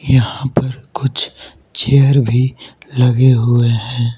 यहा पर कुछ चेयर भी लगे हुए है।